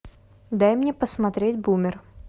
дай мне посмотреть бумер